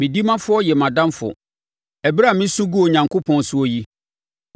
Me ɔdimafoɔ yɛ mʼadamfo ɛberɛ a mesu gu Onyankopɔn soɔ yi;